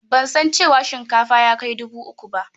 Ban san cewa kuɗin shinkafa ya kai dubu uku ba.